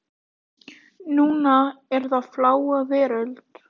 Núna er það Fláa veröld.